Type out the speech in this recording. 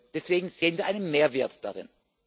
Deswegen sehen wir einen Mehrwert darin.